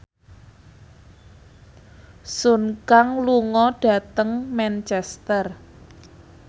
Sun Kang lunga dhateng Manchester